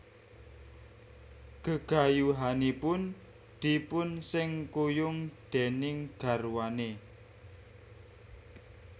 Gegayuhanipun dipunsengkuyung déning garwane